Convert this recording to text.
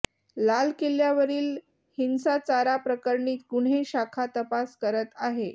लाल किल्ल्यावरील हिंसाचाराप्रकरणी गुन्हे शाखा तपास करत आहे